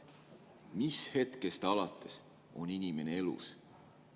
Mis hetkest alates on inimene elus?